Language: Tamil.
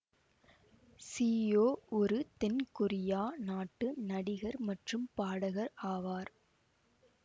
சீயோ ஒரு தென் கொரியா நாட்டு நடிகர் மற்றும் பாடகர் ஆவார்